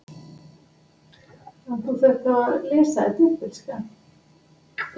Ég lít upp og við horfumst í augu eitt andartak.